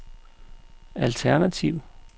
alternativ